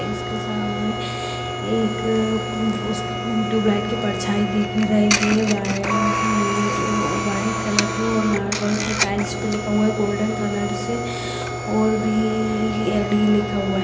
इसके सामने एक उसके ट्यूबलाइट की परछाई दिख रही है व्हाइट है व्हाइट कलर से ओर मार्बल पे टाइल्स पे लिखा हुआ है गोल्डन कलर से और भी लिखा हुआ है।